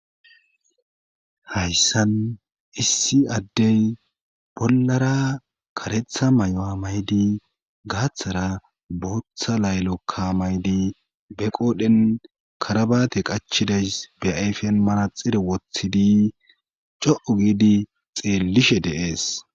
Hayssan issi addey bollara karetha mayuwa mayidi gaaththara bootha laylokka maydi be qoodhen karabate qachidays be ayfen manaxxire wothidi co77u giidi xeellishe de7ees.